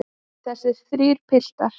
Þessir þrír piltar.